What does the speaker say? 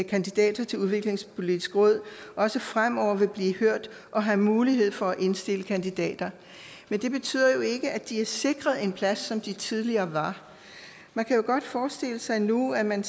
kandidater til udviklingspolitisk råd også fremover vil blive hørt og have mulighed for at indstille kandidater men det betyder jo ikke at de er sikret en plads som de tidligere var man kan jo godt forestille sig nu at man